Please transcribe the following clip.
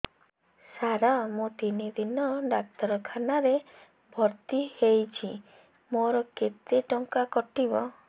ସାର ମୁ ତିନି ଦିନ ଡାକ୍ତରଖାନା ରେ ଭର୍ତି ହେଇଛି ମୋର କେତେ ଟଙ୍କା କଟିବ